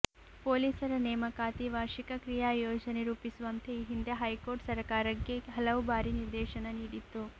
ಪೊಲೀಸರ ನೇಮಕಾತಿ ವಾರ್ಷಿಕ ಕ್ರೀಯಾ ಯೋಜನೆ ರೂಪಿಸುವಂತೆ ಈ ಹಿಂದೆ ಹೈಕೋರ್ಟ್ ಸರಕಾರಕ್ಕೆ ಹಲವು ಬಾರಿ ನಿರ್ದೇಶನ ನೀಡಿತ್ತು